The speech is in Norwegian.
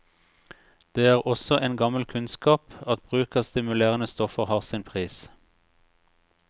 Det er også en gammel kunnskap at bruk av stimulerende stoffer har sin pris.